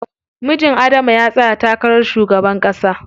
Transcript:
Mijin Adama ya tsaya takarar shugaban ƙasa.